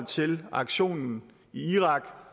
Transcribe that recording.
til aktionen i irak